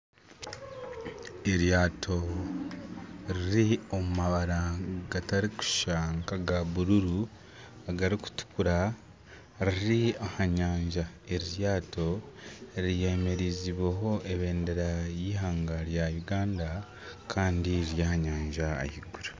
Eryato riri omu mabara gatarikushushana nk'aga gurini, agarikutukura, riri aha nyanja. Eri ryato ryemereziibweho ebendera y'eihanga rya Uganda riri aha nyanja ahaiguru.